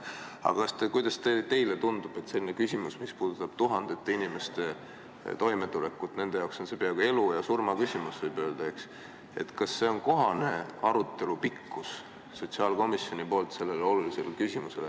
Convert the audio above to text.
Aga kuidas teile tundub, kui on selline küsimus, mis puudutab tuhandete inimeste toimetulekut – nende jaoks on see peaaegu elu ja surma küsimus, võib öelda –, kas siis on kohane, kui sotsiaalkomisjoni arutelu pikkus on ainult 10 minutit?